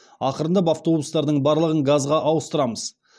ақырындап автобустардың барлығын газға ауыстырамыз